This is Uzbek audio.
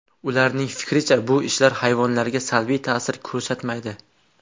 Ularning fikricha bu ishlar hayvonlarga salbiy ta’sir ko‘rsatmaydi.